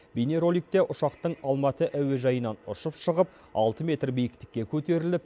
бейнероликте ұшақтың алматы әуежайынан ұшып шығып алты метр биіктікке көтеріліп